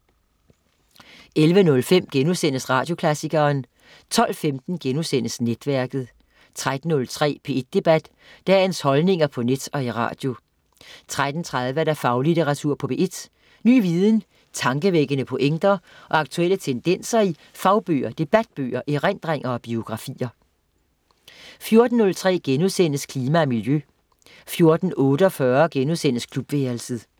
11.05 Radioklassikeren* 12.15 Netværket* 13.03 P1 Debat. Dagens holdninger på net og i radio 13.30 Faglitteratur på P1. Ny viden, tankevækkende pointer og aktuelle tendenser i fagbøger, debatbøger, erindringer og biografier 14.03 Klima og miljø* 14.48 Klubværelset*